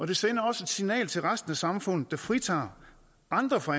det sender også et signal til resten af samfundet der fritager andre fra